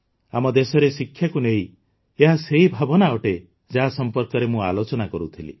ଆମ ଦେଶରେ ଶିକ୍ଷାକୁ ନେଇ ଏହା ସେହି ଭାବନା ଅଟେ ଯାହା ସମ୍ପର୍କରେ ମୁଁ ଆଲୋଚନା କରୁଥିଲି